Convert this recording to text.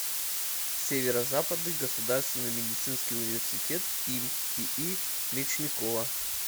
северо западный государственный медицинский университет им ии мечникова